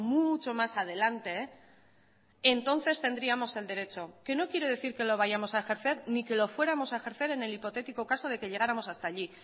mucho más adelante entonces tendríamos el derecho que no quiere decir que lo vayamos a ejercer ni que lo fuéramos a ejercer en el hipotético caso de que llegáramos hasta allí